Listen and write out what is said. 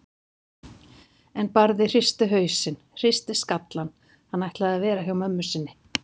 En Barði hristi hausinn, hristi skallann, hann ætlaði að vera hjá mömmu sinni.